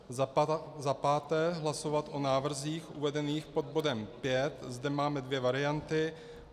Za páté hlasovat o návrzích uvedených pod bodem V. Zde máme dvě varianty.